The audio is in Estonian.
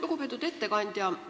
Lugupeetud ettekandja!